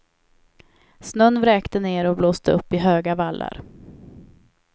Snön vräkte ner och blåste upp i höga vallar.